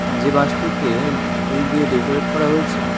যে বাসটিকে ফুল দিয়ে ডেকোরেট করা হয়েছে।